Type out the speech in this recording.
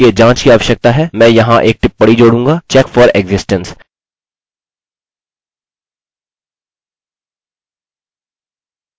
अब यह वाकई में सरल है हमें बस यह करना है कि हमें if स्टेटमेंट लिखना है और इसके बाद कोड का एक ब्लॉक